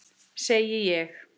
Segi ég.